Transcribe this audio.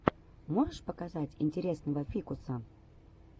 можешь показать интересного фикуса